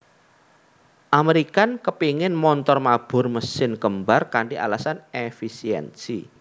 American kepéngin montor mabur mesin kembar kanthi alasan èfisiènsi